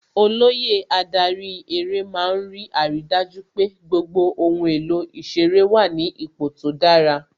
Olóyè adarí eré má ń rí àrídájú pé gbogbo ohun èlò ìṣeré wà ní ipò tó dára